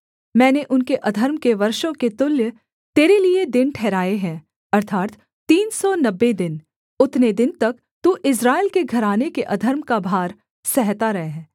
मैंने उनके अधर्म के वर्षों के तुल्य तेरे लिये दिन ठहराए हैं अर्थात् तीन सौ नब्बे दिन उतने दिन तक तू इस्राएल के घराने के अधर्म का भार सहता रह